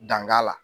Danka la